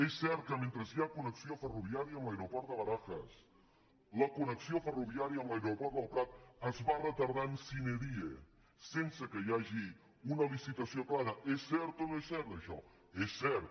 és cert que mentre hi ha connexió ferroviària amb l’aeroport de barajas la connexió ferroviària amb l’aeroport del prat es va retardant sine diehagi una licitació clara és cert o no és cert això és cert